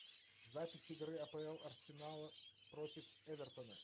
запись игры апл арсенала против эвертона